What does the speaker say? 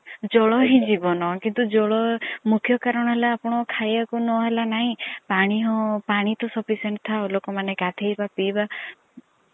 ଜଳ ହିଁ ଜୀବନ। କିନ୍ତୁ ଜଳ ର ମୁଖ୍ୟ କାରଣ ହେଲା ଆପଣ କଂ ର ଖାଇବାକୁ ନ ହେଲା ନାଇଁ ପାଣି ତ sufficient ଥାଉ ଲୋକ ମନେ ଗଧେଇବା ପିଇବା